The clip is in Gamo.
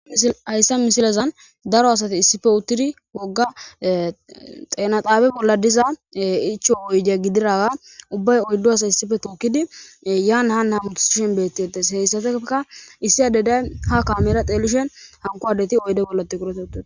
hayssa misilazan daro asati issife uttudi wogga xeenaxaabe bolla diza icho oyde gidiraga ubbay oyddo asa issife tookidi yaana hana mutusshen bettedes heyssateka issi adeday ha kamera xeelishen hankowadeti oyde bollati kuratetu